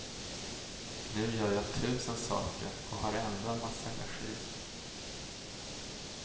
Nu gör jag tusen saker och har ändå en massa energi.